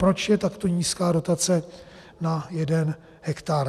Proč je takto nízká dotace na jeden hektar?